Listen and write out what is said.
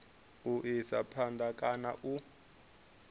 u isa phanda kana u